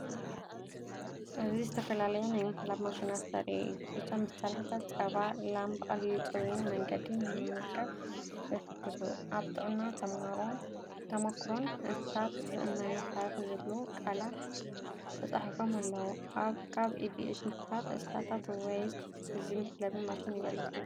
እዚ ዝተፈላለያ ናይ ምሕላብ ማሽናት ዘርኢ እዩ። እዞም መሳርሒታት ጸባ ላም ብቐሊልን ጽሩይን መንገዲ ንምምዝጋብ ይሕግዙ። ኣብ ጥዕናን ተመኩሮን እንስሳታት ዝእመን መሳርሒዝብሉ ቃላ ተጻሒፎም ኣለዉ። ካብ ብኢድ ምሓለብ እንስሳታት ወይስ እዚ መሕለቢ ማሽን ይበልፅ ትብሉ?